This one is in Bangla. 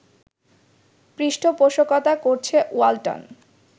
পৃষ্ঠপোষকতা করছে ওয়ালটন